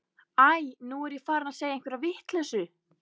Æi, nú er ég farin að segja einhverja vitleysu.